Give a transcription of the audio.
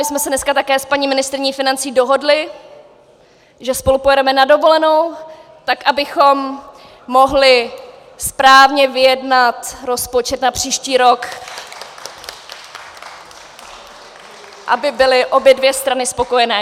My jsme se dneska také s paní ministryní financí dohodly, že spolu pojedeme na dovolenou, tak abychom mohly správně vyjednat rozpočet na příští rok , aby byly obě dvě strany spokojené.